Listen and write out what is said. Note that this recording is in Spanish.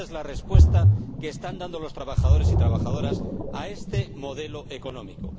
Ésa es la respuesta que están dando los trabajadores y trabajadoras a este modelo económico.